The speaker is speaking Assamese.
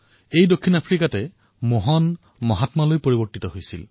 দক্ষিণ আফ্ৰিকাতেই মোহন মহাত্মালৈ পৰিৱৰ্তিত হৈছিল